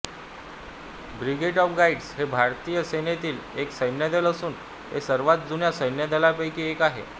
brigade of guards हे भारतीय सेनेतील एक सैन्यदल असून हे सर्वात जुन्या सैन्यदलांपैकी एक आहे